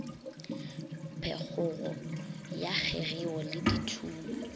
phekgogo ya kgegeo le dithumo